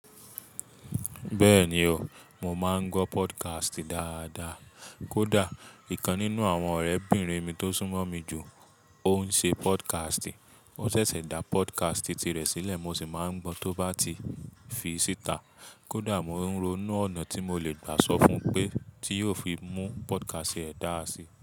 Bẹ́ẹ̀ni o, mo máa ń gbọ́ podcast dáadáa. Kódà, ìkan nínú àwọn ọ̀rẹ́ 'bìnrin mi tó sún mọ́ mi jù, ó ń ṣe podcast. Ó ṣẹ̀ṣẹ̀ dá podcast tirẹ̀ sílẹ̀, mo sì máa ń gbọ́ tó bá ti fi síta. Kódà mo ń rònú ọ̀nà tí mo le gbà sọ fún un pé tí yóò fi mú podcast rẹ̀ dáa si.